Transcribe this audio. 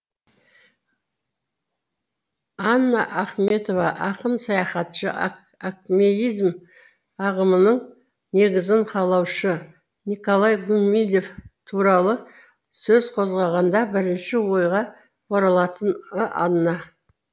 анна ахметова ақын саяхатшы акмеизм ағымының негізін қалаушы николай гумилев туралы сөз қозғағанда бірінші ойға оралатыны анна